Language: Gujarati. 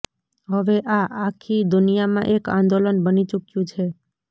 હવે આ આખી દુનિયામાં એક આંદોલન બની ચૂક્યુ છે